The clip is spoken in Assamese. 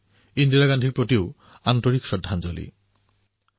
ইন্দিৰাজীতো আদৰৰে শ্ৰদ্ধাঞ্জলী যাচিছোঁ